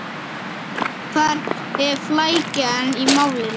Hvar er flækjan í málinu?